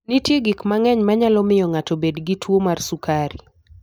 Nitie gik mang'eny manyalo miyo ng'ato obed gi tuwo mar sukari.